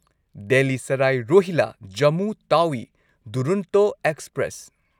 Delhi Sarai Rohilla Jammu Tawi Duronto express